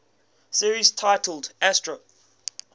series titled astro